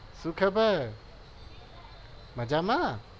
શું ખબર મજામાં?